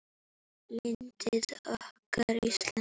Landið okkar, Ísland.